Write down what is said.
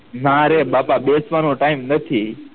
મારે બાપા બેસવાનો time નથી